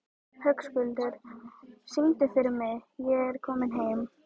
Höskuldur, syngdu fyrir mig „Ég er kominn heim“.